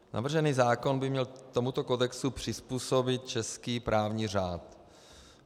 Navržený zákon by měl tomuto kodexu přizpůsobit český právní řád.